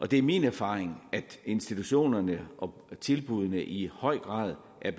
det er min erfaring at institutionerne og tilbuddene i høj grad er